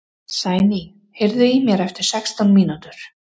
Sæný, heyrðu í mér eftir sextán mínútur.